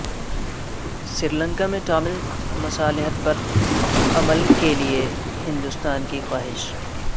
سری لنکا میں ٹامل مصالحت پر عمل کیلئے ہندوستان کی خواہش